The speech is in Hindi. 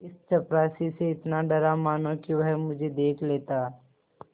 इस चपरासी से इतना डरा मानो कि वह मुझे देख लेता